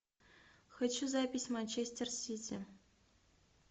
хочу запись манчестер сити